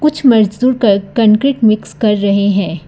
कुछ मजदूर कर कंक्रीट मिक्स कर रहे हैं।